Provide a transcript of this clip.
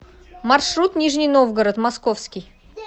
маршрут нижний новгород московский